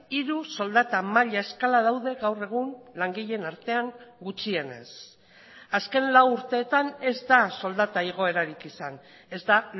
hiru soldata maila eskala daude gaur egun langileen artean gutxienez azken lau urteetan ez da soldata igoerarik izan ez da